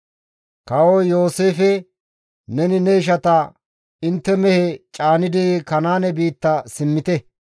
Kawoy Yooseefe, «Neni ne ishata, ‹Intte mehe caanidi Kanaane biitta simmite;